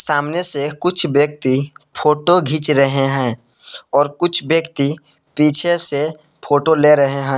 सामने से कुछ व्यक्ति फोटो घीच रहे हैं और कुछ व्यक्ति पीछे से फोटो ले रहे हैं।